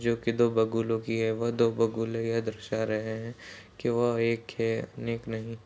जो कि दो बगुलों की है। वह दो बगुले यह दरसा रहें हैं। कि वह एक --